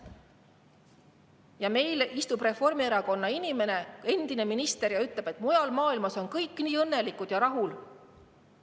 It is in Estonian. Ja meil istub Reformierakonnas inimene, endine minister, kes ütleb, et mujal maailmas on kõik nii õnnelikud ja rahul.